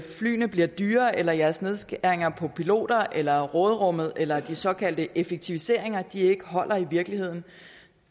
flyene bliver dyrere eller jeres nedskæringer på piloter eller råderummet eller de såkaldte effektiviseringer ikke holder i virkeligheden